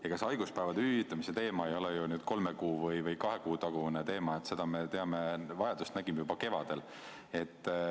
Ega see haiguspäevade hüvitamise teema ei ole ju nüüd kahe või kolme kuu tagune teema, seda vajadust me nägime juba kevadel.